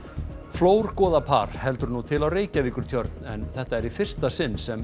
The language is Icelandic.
flórgoða par heldur nú til á Reykjavíkurtjörn en þetta er í fyrsta sinn sem